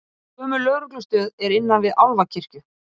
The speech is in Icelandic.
Gömul lögreglustöð er innan við Álfakirkju